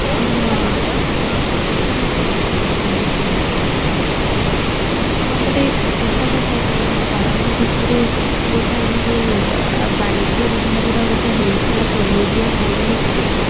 ହଁ ସେଇଟା ମୁଁ ଖାଇଥିଲି ବହୁତ ଭଲ ଥିଲା ଆଉ ଆମର ଏଇ ପଚିଶ ତମ ମାନେ ପାଳନ ଭିତରେ ଗୋଟେ ଆମ ଯୋଉ ବାଣିଜ୍ୟ ବିଭାଗର ଗୋଟେ ହେଇଥିଲା ମନେ ଅଛି ତତେ